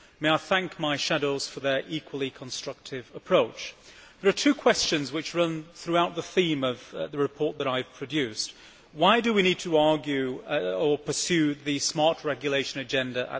May I thank my shadows for their equally constructive approach. There are two questions which run throughout the theme of the report I have produced why do we need to pursue the smart regulation agenda?